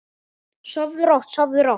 Sofðu rótt, sofðu rótt.